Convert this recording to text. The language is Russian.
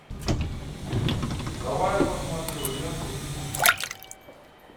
давай я посмотрю ленту фитнес